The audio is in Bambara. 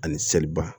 Ani seliba